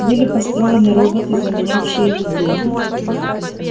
были построены роботы заменявшие людей